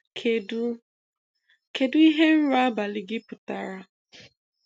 Kedu Kedu ihe nrọ abalị gị pụtara?